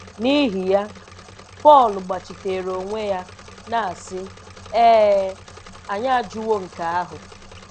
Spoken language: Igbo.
N’ihi ya, Pọl gbachiteere onwe ya, na-asị, "Ee e, anyị ajụwo nke ahụ.